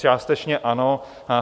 Částečně ano.